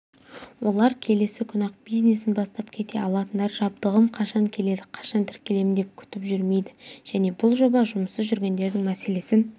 олар келесі күні-ақ бизнесін бастап кете алатындар жабдығым қашан келеді қашан тіркелемін деп күтіп жүрмейді және бұл жоба жұмыссыз жүргендердің мәселесін